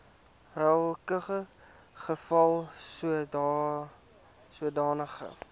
welke geval sodanige